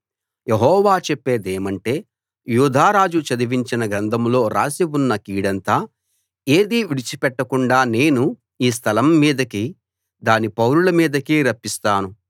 యెహోవా చెప్పేదేమంటే యూదా రాజు చదివించిన గ్రంథంలో రాసి ఉన్న కీడంతా ఏదీ విడిచి పెట్టకుండా నేను ఈ స్థలం మీదకీ దాని పౌరుల మీదకీ రప్పిస్తాను